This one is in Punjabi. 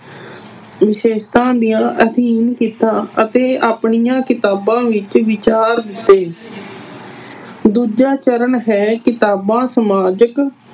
ਵਿਸ਼ੇਸ਼ਤਾਂ ਦਾ ਅਧਿਐਨ ਕੀਤਾ ਅਤੇ ਆਪਣੀਆਂ ਕਿਤਾਬਾਂ ਵਿੱਚ ਵਿਚਾਰ ਦਿੱਤੇ। ਦੂਜਾ ਚਰਨ ਹੈ ਕਿਤਾਬਾਂ ਸਮਾਜਿਕ